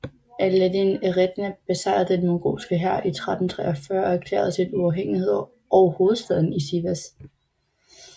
Alaaddin Eretna besejrede den mongolske hær i 1343 og erklærede sin uafhængighed og hovedstaden i Sivas